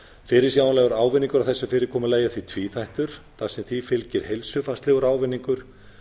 fyrirsjáanlegur ávinningur af þessu fyrirkomulagi er því tvíþættur þar sem því fylgir heilsufarslegur ávinningur